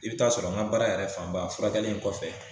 I bɛ taa sɔrɔ n ka baara yɛrɛ fanba furakɛli in kɔfɛ